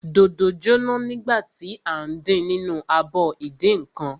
Dòdò jóná nígbà tí à ń din nínú abọ ìdínǹkan.